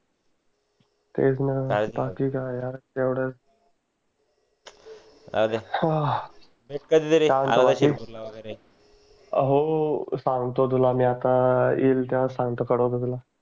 तेच न बाकी काय यार येवढाच हो सांगतो तुला मी आता येईल येवहा सांगतो कडवतो तुला